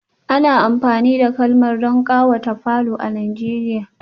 Ana amfani da karmal don kawata falo a nigeria